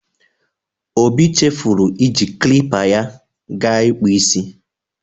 Obi chefuru iji klipa ya ga ịkpụ isi.